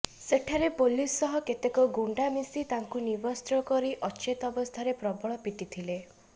ସେଠାରେ ପୋଲିସ ସହ କେତେକ ଗୁଣ୍ଡା ମିଶି ତାଙ୍କୁ ନିବସ୍ତ୍ର କରି ଅଚେତ ଅବସ୍ଥାରେ ପ୍ରବଳ ପିଟିଥିଲେ